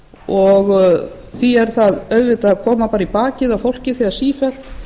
og því er það auðvitað að koma í bakið á fólki þegar sífellt